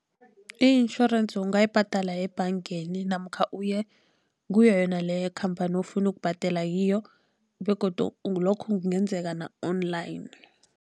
I-insurance ungayibhadela yebhangeni, namkha uye kuyo yona leyo khamphani ofuna ukubhadela kiyo begodu lokho kungenzeka na-online.